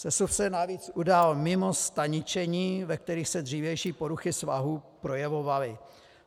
Sesuv se navíc udal mimo staničení, ve kterých se dřívější poruchy svahů projevovaly.